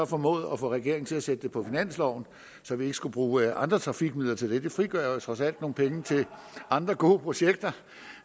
formået at få regeringen til at sætte det på finansloven så vi ikke skulle bruge andre trafikmidler til det det frigør trods alt nogle penge til andre gode projekter